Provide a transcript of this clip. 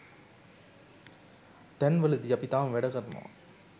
තැන්වලදී අපි තාම වැඩ කරනවා.